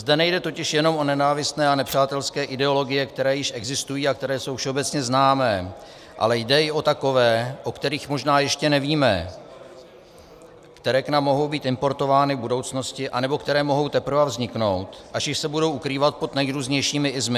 Zde nejde totiž jenom o nenávistné a nepřátelské ideologie, které již existují a které jsou všeobecně známé, ale jde i o takové, o kterých možná ještě nevíme, které k nám mohou být importovány v budoucnosti anebo které mohou teprve vzniknout, ať již se budou ukrývat pod nejrůznějšími "-ismy".